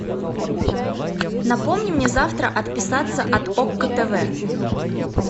напомни мне завтра отписаться от окко тв